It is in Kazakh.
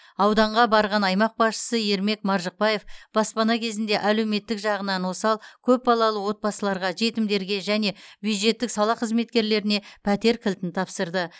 ауданға барған аймақ басшысы ермек маржықпаев баспана кезегінде әлеуметтік жағынан осал көпбалалы отбасыларға жетімдерге және бюджеттік сала қызметкерлеріне пәтер кілтін тапсырды